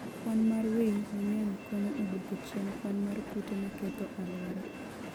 Kwan mar winy mang'eny konyo e duoko chien kwan mar kute maketho alwora.